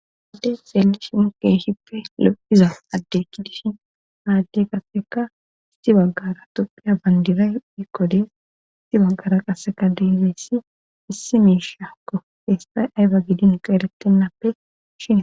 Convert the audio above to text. adde xeelli shi mukey shippe lophiza addekki dishin haadde qasseka isti baggara topphiya bandiray iqodes isti baggara qasseka dizeessi issi miishakko feestay ayba gidin qa erettennappe shina